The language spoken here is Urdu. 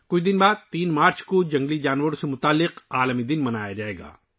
کچھ دنوں بعد، 3 مارچ کو 'ورلڈ وائلڈ لائف ڈے' ہے